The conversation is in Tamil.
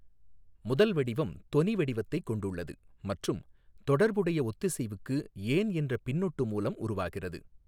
முதல் வடிவம் தொனி வடிவத்தைக் கொண்டுள்ளது மற்றும் தொடர்புடைய ஒத்திசைவுக்கு ஏன் என்ற பின்னொட்டு மூலம் உருவாகிறது.